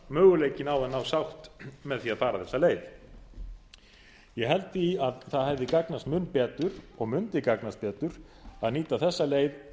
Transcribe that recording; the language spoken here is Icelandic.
möguleikinn á að ná sátt með því að fara þessa leið ég held því að það hefði gagnast mun betur og mundi gagnast betur að nýta þessa leið